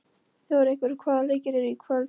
Þjóðrekur, hvaða leikir eru í kvöld?